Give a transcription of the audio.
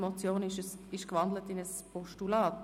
Die Motion ist in ein Postulat gewandelt worden.